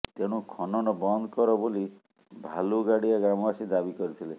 ତେଣୁ ଖନନ ବନ୍ଦ କର ବୋଲି ଭାଲୁଗାଡ଼ିଆ ଗ୍ରାମବାସୀ ଦାବି କରିଥିଲେ